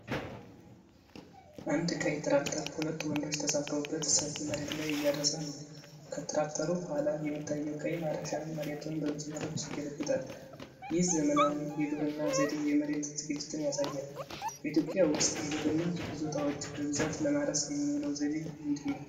አንድ ቀይ ትራክተር ሁለት ወንዶች ተሳፍረውበት ሰፊ መሬት ላይ እያረሰ ነው። ከትራክተሩ ኋላ የሚታየው ቀይ ማረሻ መሬቱን በመስመሮች ይገለብጣል። ይህ ዘመናዊ የግብርና ዘዴ የመሬት ዝግጅትን ያሳያል። በኢትዮጵያ ውስጥ የግብርና ይዞታዎችን በብዛት ለማረስ የሚውለው ዘዴ ምንድነው?